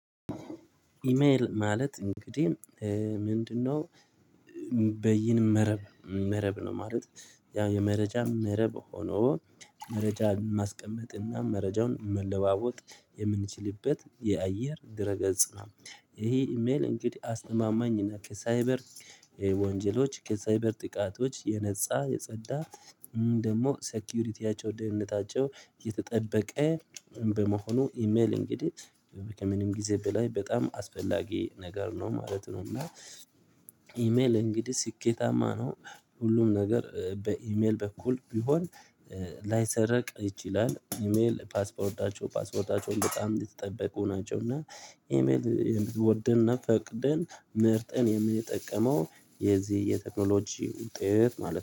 ኢሜል ማለት እንግዲህ ምንድነው? በይን መረብ መረብ ነው ማለት። ያው የመረጃም መረብ ሆኖ መረጃ ማስቀመጥና መረጃውን መለዋወጥ የምንችልበት የአየር ድረ ገጽ ነው። ይሄ ኢሜል እንግዲህ አስተማማኝና ከሳይበር ወንጀሎች ከሳይበር ጥቃቶች የነፃ የጸዳ ደግሞ ሴኩሪቲያቸው ደህንነታቸው እየተጠበቀ በመሆኑ ኢሜል እንግዲህ ከምንም ጊዜ በላይ በጣም አስፈላጊ ነገር ነው ማለት ነው። እና ኢሜል እንግዲህ ስኬታማ ነው ሁሉም ነገር በኢሜል በኩል ቢሆን ላይሰረቅ ይችላል። ኢሜል ፓስዎርዳቸው ፓስፖርታቸው በጣም የተጠበቁ ናቸው። እና ኢሜል ወደንና ፈቅድን መርጠን የምንጠቀመው የዚህ የቴክኖሎጂ ውጤት ማለት ነው